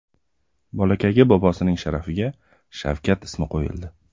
Bolakayga bobosining sharafiga Shavkat ismi qo‘yildi.